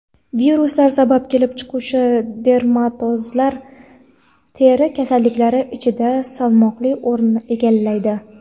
viruslar sabab kelib chiquvchi dermatozlar teri kasalliklari ichida salmoqli o‘rinni egallaydi.